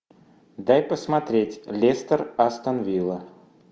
дай посмотреть лестер астон вилла